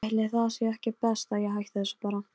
Loks var eins og fjötrar féllu af mömmu.